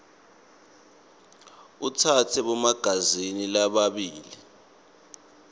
atsatse bomagazini lababili